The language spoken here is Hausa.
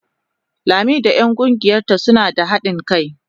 Lami da 'yan kungiyarta suna da hadin kai.